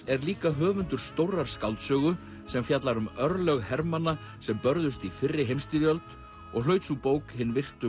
er líka höfundur stórrar skáldsögu sem fjallar um örlög hermanna sem börðust í fyrri heimsstyrjöld og hlaut sú bók hin virtu